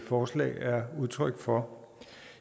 forslag er udtryk for